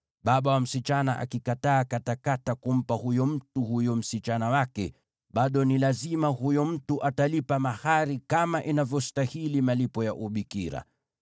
Baba wa msichana akikataa katakata kumpa huyo mtu huyo msichana wake, bado ni lazima huyo mtu atalipa mahari kama inavyostahili malipo ya ubikira.